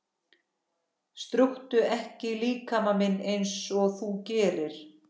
Strjúktu ekki líkama minn einsog þú gerir.